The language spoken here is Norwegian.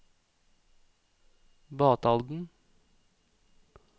Batalden